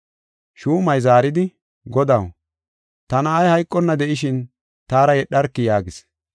Shuumay zaaridi, “Godaw, ta na7ay hayqonna de7ishin taara yedharki” yaagis.